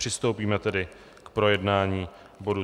Přistoupíme tedy k projednání bodu